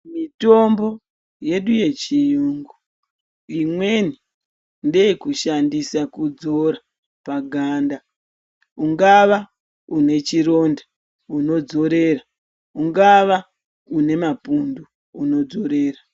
Mitombonyedu yechiyungu imweni ndeye kushandisa kudzora paganda ungava une chironda unodzorera ungava une mapundu unodzorera.